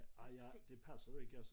Ej jeg det passede ikke altså